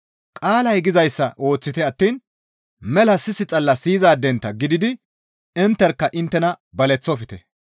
Qaalay gizayssa ooththite attiin mela sis xalla siyizaadentta gididi intterkka inttena baleththofte.